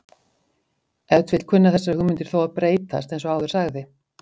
ef til vill kunna þessar hugmyndir þó að breytast eins og áður sagði